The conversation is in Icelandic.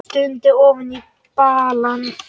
Stundi ofan í balann.